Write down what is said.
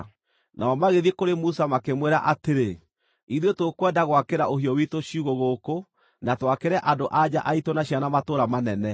Nao magĩthiĩ kũrĩ Musa makĩmwĩra atĩrĩ, “Ithuĩ tũkwenda gwakĩra ũhiũ witũ ciugũ gũkũ, na twakĩre andũ-a-nja aitũ na ciana matũũra manene.